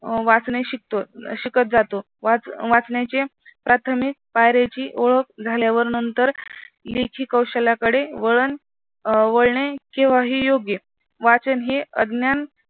वाचन ही शिकतो शिकत जातो. वाचनाचे प्राथमिक पायरीची ओळख झाल्यावर नंतर लेखी कौशल्याकडे वळणे केव्हाही योग्य वाचन हे अज्ञान